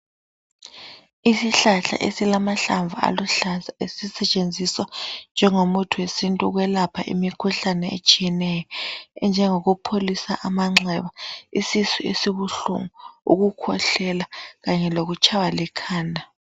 Isihlahla esilamahlamvu aluhlaza esisetshenziswa njengo muthi wesintu ukwelapha imikhuhlane etshiyeneyo enjengokupholisa amanxeba, isisu esibuhlungu, ukukhwehlela kanye lokutshaywa likhanda.